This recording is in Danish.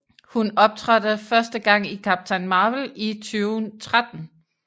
Hun optrådte første gang i Captain Marvel i 2013